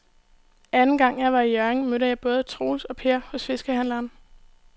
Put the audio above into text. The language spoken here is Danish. Anden gang jeg var i Hjørring, mødte jeg både Troels og Per hos fiskehandlerne.